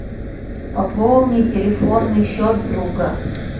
пополни телефонный счет друга